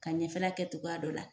Ka ɲɛfɛla kɛ togoya dɔ la